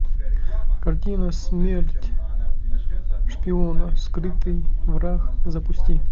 картина смерть шпиона скрытый враг запусти